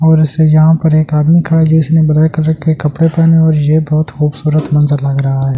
और उसे यहां पर एक आदमी खड़ा जो उसने ब्लैक कलर के कपड़े पहने और ये बहुत खूबसूरत मंजर लग रहा है।